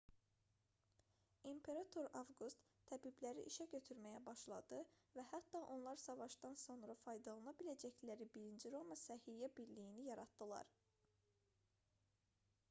i̇mperator avqust təbibləri işə götürməyə başladı və hətta onlar savaşdan sonra faydalana biləcəkləri birinci roma səhiyyə birliyini yaratdılar